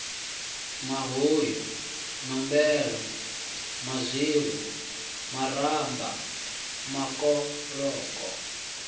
mahuyu nombelo mazwilu maramba makoloko